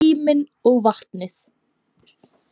Tíminn og vatnið.